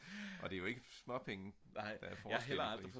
og det er jo ikke småpenge